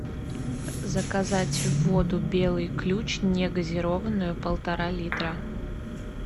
заказать воду белый ключ не газированную полтора литра